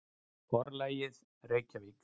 Forlagið: Reykjavík.